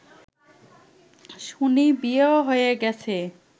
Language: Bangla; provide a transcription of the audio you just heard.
শুনি বিয়েও হয়ে গেছে